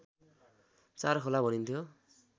चारखोला भनिन्थ्यो